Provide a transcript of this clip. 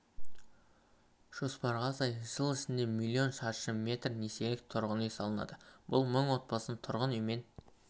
жоспарға сай жыл ішінде млн шаршы метр несиелік тұрғын үй салынады бұл мың отбасын тұрғын үймен